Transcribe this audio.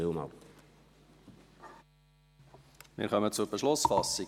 Wir kommen zur Beschlussfassung.